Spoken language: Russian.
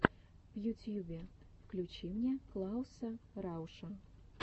в ютьюбе включи мне клауса рауша